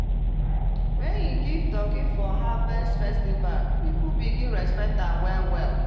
when he give turkey for harvest festival people begin respect am well-well.